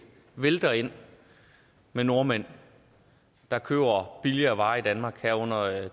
vælter ind med nordmænd der køber billigere varer i danmark herunder